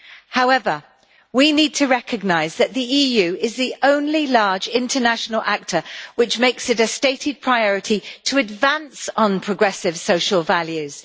However, we need to recognise that the EU is the only large international actor, which makes it a stated priority to advance on progressive social values.